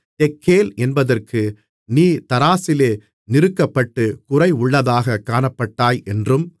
தெக்கேல் என்பதற்கு நீ தராசிலே நிறுக்கப்பட்டு குறைவுள்ளதாகக் காணப்பட்டாய் என்றும்